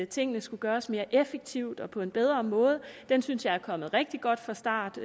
tingene skulle gøres mere effektivt og på en bedre måde den synes jeg er kommet rigtig godt fra start